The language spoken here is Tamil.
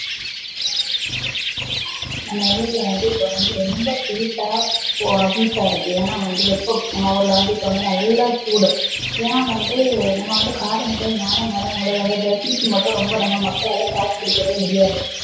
நம்ப ஊர்ல வந்து இப்போ வந்து ரொம்ப heat டா heat டா இருக்கு ஏனா வந்து வெப்பம் நம்ப ஊர்ல வந்து இப்ப வந்து நல்லா சூடு ஏனா வந்து நம்ப வந்து காலநிலை மாற மாற நம்பலோட உடல்ல heat டு மட்டும் ரொம்ப நம்ப மக்களால தாக்கு புடிக்கவே முடியாது